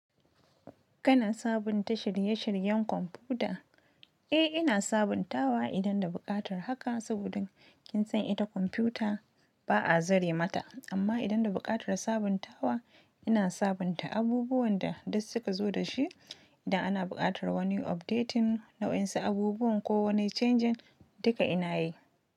Kana sabunta shirye-shiryen kwamfuta? Eh, ina sabuntawa idan da buƙatar haka saboda kin san ita kwamfuta ba a zare mata. Amma idan da buƙatar sabuntawa, ina sabunta abubuwan da duk suka zo da shi. Idan ana buƙatar wani updating nayansu abubuwan ko wani changing duka ina yi.